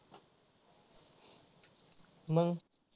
मग.